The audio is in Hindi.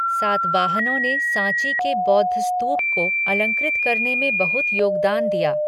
सातवाहनों ने सांची के बौद्ध स्तूप को अलंकृत करने में बहुत योगदान दिया।